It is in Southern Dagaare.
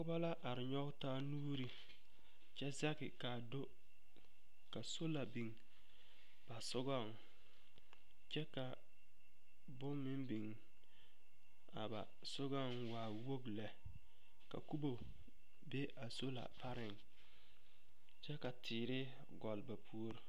Noba la are nyͻge taa nuuri kyԑ zeŋԑ kaa do ka sola biŋ ba sogͻŋ kyԑ ka bone meŋ biŋ a ba sogͻŋ waa wogi lԑ, ka kubo be a sola pareŋ kyԑ ka teere gͻlle ba puori.